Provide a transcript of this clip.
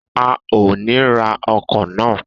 A o ni ra ọkọ na